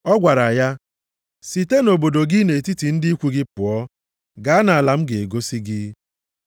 Ọ gwara ya, ‘Site nʼobodo gị na nʼetiti ndị ikwu gị pụọ, gaa nʼala m ga-egosi gị.’ + 7:3 \+xt Jen 12:1\+xt*